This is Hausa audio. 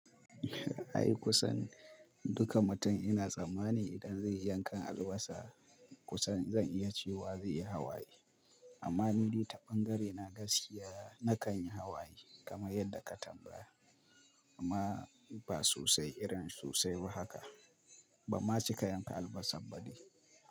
Ai kusan duka mutum ina tsammani idan zai yi yankan albasa kusan zan iya cewa zai yi hawaye. Amma nidai ta ɓangare na gaskiya nakan yi hawaye kamar yadda ka tambaya amma ba sosai irin sosai ba haka. Ban ma cika yanka albasab ba dai.